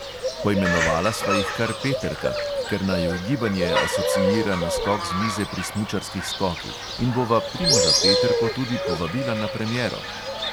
Poimenovala sva jih kar peterka, ker naju gibanje asociira na skok z mize pri smučarskih skokih, in bova primoža peterko tudi povabila na premiero.